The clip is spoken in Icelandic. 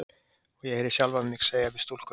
Og ég heyri sjálfa mig segja við stúlkuna